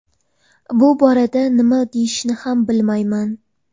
Bu borada nima deyishni ham bilmayman.